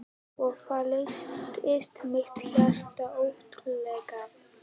Og þá lyftist mitt hjarta örlítið.